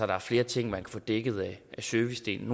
der er flere ting man kan få dækket af servicedelen